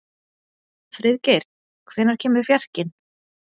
Friðgeir, hvenær kemur fjarkinn?